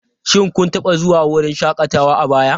Shin kun taba zuwa wurin shakatawa a baya?